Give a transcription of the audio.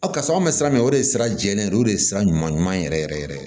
karisa anw bɛ sira min o de ye sira jɛlen de ye o de ye sira ɲuman ɲuman yɛrɛ yɛrɛ yɛrɛ